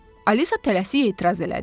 Alisa tələsik etiraz elədi.